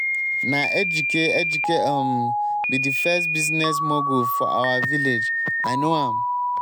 na ejike ejike um be the first business um mogul for our village. i know am.